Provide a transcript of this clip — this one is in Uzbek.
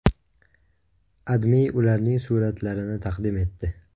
AdMe ularning suratlarini taqdim etdi.